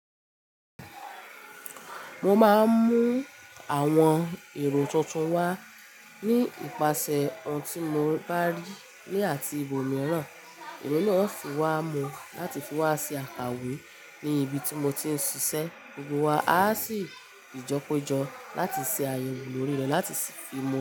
Mo máa mú àwọn èrò tuntun wá ní ìpasẹ̀ ohun tí mò bá rí ní àti ibòmíràn. Emi náà sì wá mu láti fi wá ṣe àkàwé ní ibi tí mo ti ń ṣiṣẹ́. Gbogbo wa a sì jọ kòjó láti ṣe àyẹ̀wò lórí rẹ̀ láti fi mu.